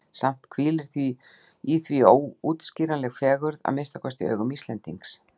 Samt hvílir í því óútskýranleg fegurð, að minnsta kosti í augum Íslendings.